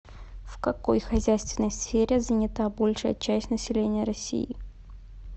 в какой хозяйственной сфере занята большая часть населения россии